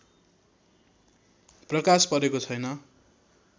प्रकाश परेको छैन